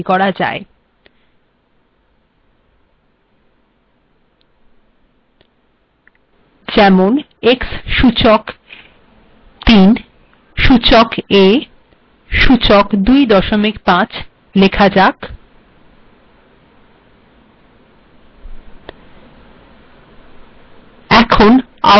f যেমন x সূচক ৩ সূচক a সূচক ২৫ লেখা যাক